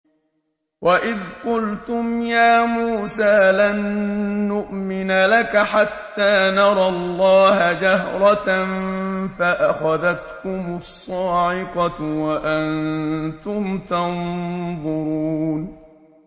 وَإِذْ قُلْتُمْ يَا مُوسَىٰ لَن نُّؤْمِنَ لَكَ حَتَّىٰ نَرَى اللَّهَ جَهْرَةً فَأَخَذَتْكُمُ الصَّاعِقَةُ وَأَنتُمْ تَنظُرُونَ